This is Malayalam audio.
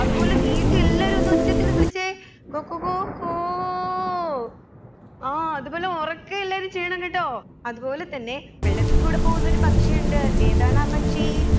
അത് പോലെ നീട്ടി എല്ലാവരും ഒന്ന് ഒച്ചത്തിൽ വിളിച്ചേ കൊക കൊ കോ ആ അത് പോലെ ഒറക്കെ എല്ലാവരും ചെയ്യണം കേട്ടോ അത് പോലെ തന്നെ വെള്ളത്തിൽ കൂടി പോകുന്നൊരു പക്ഷിയുണ്ട് ഏതാണാ പക്ഷി